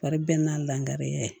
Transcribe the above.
Wari bɛɛ n'a langariya ye